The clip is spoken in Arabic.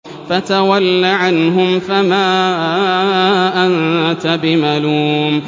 فَتَوَلَّ عَنْهُمْ فَمَا أَنتَ بِمَلُومٍ